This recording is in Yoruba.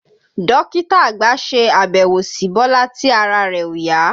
Dókítà àgbà ṣe àbẹ̀wò si Bọ́lá tí ara rẹ̀ òyá